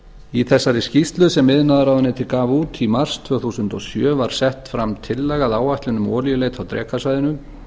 í þessari skýrslu sem iðnaðarráðuneytið gaf út í mars tvö þúsund og sjö var sett fram tillaga að áætlun um olíuleit á drekasvæðinu